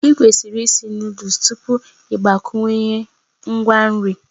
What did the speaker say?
Ịkwesịrị ịsị Nụ́dúls tupu ị gbakwunye ngwa nri